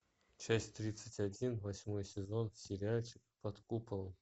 часть тридцать один восьмой сезон сериальчик под куполом